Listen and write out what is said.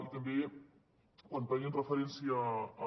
i també quan feien referència a